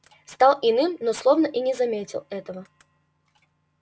стал иным но словно и не заметил этого